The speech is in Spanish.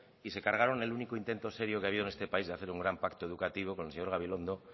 y se cargaron el único intento serio que ha habido en este país de hacer un gran pacto educativo con el señor gabilondo